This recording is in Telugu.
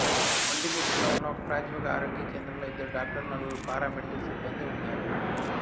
వొంటిమిట్టలో ఉన్న ఒకప్రాథమిక ఆరోగ్య కేంద్రంలో ఇద్దరు డాక్టర్లు నలుగురు పారామెడికల్ సిబ్బందీ ఉన్నారు